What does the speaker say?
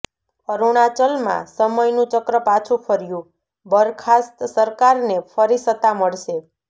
અરુણાચલમાં સમયનું ચક્ર પાછું ફર્યુંઃ બરખાસ્ત સરકારને ફરી સત્તા મળશે